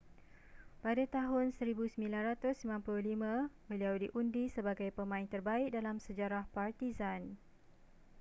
pada tahun 1995 beliau diundi sebagai pemain terbaik dalam sejarah partizan